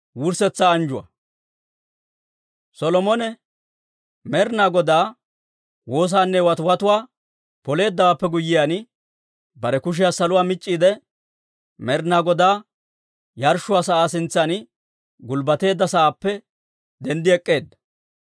Solomone Med'inaa Godaa woosaanne watiwatuwaa Poleeddawaappe guyyiyaan, bare kushiyaa saluwaa mic'c'iide Med'inaa Godaa yarshshuwaa sa'aa sintsan gulbbateedda sa'aappe denddi ek'k'eedda.